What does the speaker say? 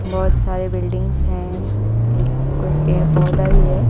बहोत सारे बिल्डिंग्स है एक कोई पेड़ पौधा भी है।